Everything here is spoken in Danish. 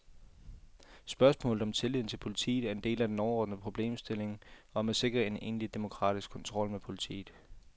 Spørgsmålet om tilliden til politiet er en del af den overordnede problemstilling om at sikre en egentlig demokratisk kontrol med politiet.